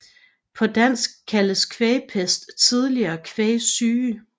På dansk kaldtes kvægpest tidligere kvægsyge